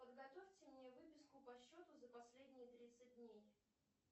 подготовьте мне выписку по счету за последние тридцать дней